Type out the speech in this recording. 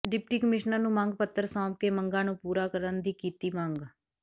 deputy commissioner ਨੂੰ ਮੰਗ ਪੱਤਰ ਸੋਂਪਕੇ ਮੰਗਾਂ ਨੂੰ ਪੂਰਾ ਕਰਨ ਦੀ ਕੀਤੀ ਮੰਗ